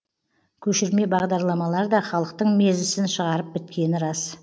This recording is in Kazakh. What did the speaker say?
көшірме бағдарламалар да халықтың мезісін шығарып біткені рас